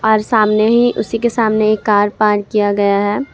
और सामने ही उसी के सामने एक कार पार्क किया गया है।